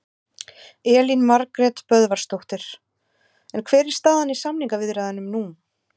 Elín Margrét Böðvarsdóttir: En hver er staðan í samningaviðræðunum nú?